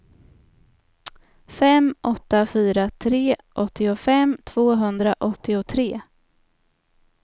fem åtta fyra tre åttiofem tvåhundraåttiotre